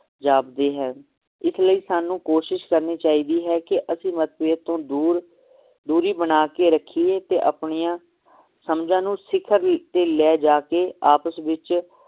ਜਾਪਦੇ ਹੈ ਇਸਲਈ ਸਾਨੂੰ ਕੋਸ਼ਿਸ਼ ਕਰਨੀ ਚਾਹੀਦੀ ਹੈ ਕਿ ਅਸੀ ਮਤਭੇਦ ਤੋਂ ਦੂਰ ਦੂਰੀ ਬਣਾ ਕੇ ਰਖੀਏ ਤੇ ਆਪਣੀਆਂ ਸਮਝਾਂ ਨੂੰ ਸਿਖਰ ਤੇ ਲੈ ਜਾਕੇ ਆਪਸ ਵਿਚ